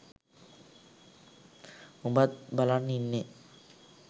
උඹත් බලන් ඉන්නේ